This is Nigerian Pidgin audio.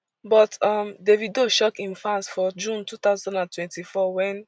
but um davido shock im fans for june two thousand and twenty-four wen